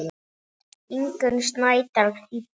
Ingunn Snædal þýddi.